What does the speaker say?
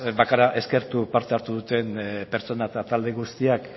bakarrik eskertu parte hartu duten pertsona eta talde guztiak